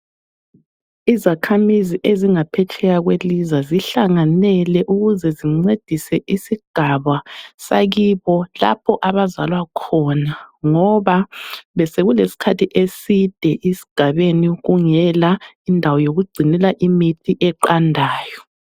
Izakhamizi ezingaphetsheya kwelizwe zihlanganele ukuze zincedise isigaba sakibo lapho abazalwa khona ngoba besekulesikhathi eside esigabeni kungela indawo yokugcinela imithi eqandayo.